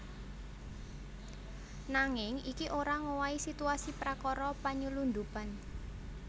Nanging iki ora ngowahi situasi prakara panylundhupan